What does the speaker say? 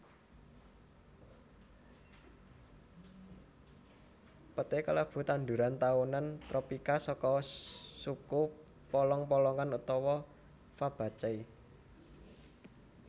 Peté kalebu tanduran taunan tropika saka suku polong polongan utawa Fabaceae